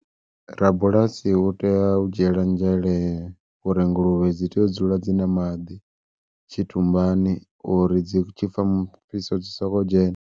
Rabulasi u tea u dzhiela nzhele uri nguluvhe dzi tea u dzula dzi na maḓi, tshitumbani uri dzi tshi pfha mufhiso dzi soko dzhena.